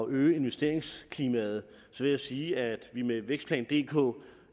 øge investeringsklimaet vil jeg sige at vi med vækstplan dk